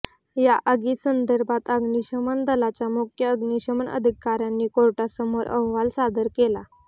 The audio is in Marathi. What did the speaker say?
या आगीसंदर्भात अग्निशमन दलाच्या मुख्य अग्निशमन अधिकाऱ्यांनी कोर्टासमोर अहवाल सादर केला